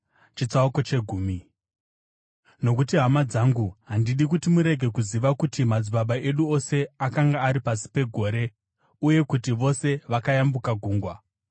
Nokuti hama dzangu, handidi kuti murege kuziva kuti madzibaba edu ose akanga ari pasi pegore uye kuti vose vakayambuka gungwa.